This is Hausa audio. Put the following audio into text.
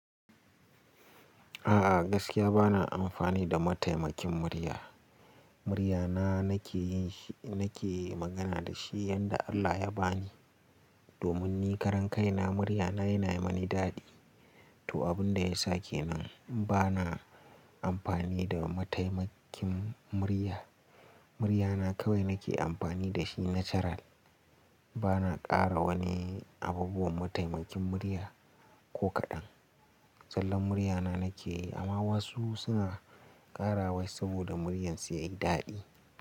A'a gaskiya bana amfani da mataimakin murya. Muryana nake yi, nake magana da shi yanda Allah ya bani. Domin ni karan kaina muryana yana yi mani daɗi. To abun da ya sake nan bana amfani da mataimakin murya. Muryana kawai nake amfani da shi natural. Bana ƙara wani abubuwan mataimakin murya ko kaɗan. Zallan muryana nake yi amma wasu suna ƙara wai saboda muryan su yayi daɗi.